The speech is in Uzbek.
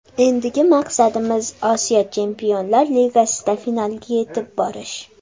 Endigi maqsadimiz Osiyo Chempionlar ligasida finalga yetib borish.